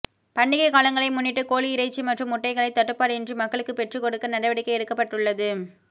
பண்டிகை காலங்களை முன்னிட்டு கோழி இறைச்சி மற்றும் முட்டைகளை தட்டுபாடின்றி மக்களுக்கு பெற்றுகொடுக்க நடவடிக்கை எடுக்கப்பட்டுள்ளது